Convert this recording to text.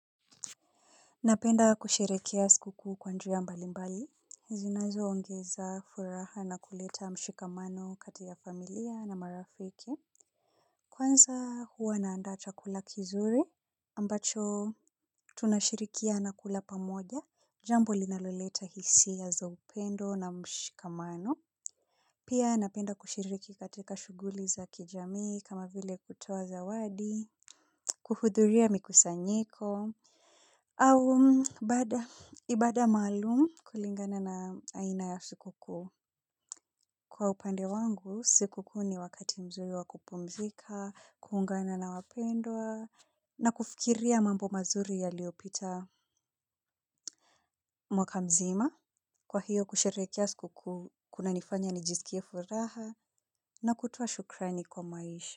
Napenda kusherehekea sikukuu kwa njia mbalimbali. Zinazoongeza furaha na kuleta mshikamano kati ya familia na marafiki. Kwanza huwa naandaa chakula kizuri ambacho tunashirikiana kula pamoja. Jambo linaloleta hisia za upendo na mshikamano. Kwanza huwa naandaa kula kizuri ambacho tunashirikia na kula pamoja. Jambo linaloleta hisia ya za upendo na mshikamano. Kuhudhuria mikusanyiko Au Ibada maalumu kulingana na aina ya sikukuu. Pia napenda kushiriki katika shuguli za kijamii kama vile kutuwa zawadi. Kwa hiyo kusherehekea sikukuu kunanifanya nijisikie furaha na kutoa shukrani kwa maisha.